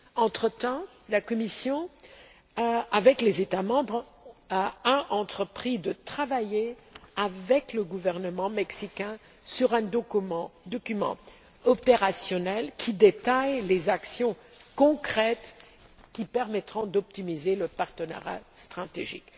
Entre temps, la Commission, avec les États membres, a entrepris de travailler avec le gouvernement mexicain sur un document opérationnel qui détaille les actions concrètes qui permettront d'optimiser le partenariat stratégique.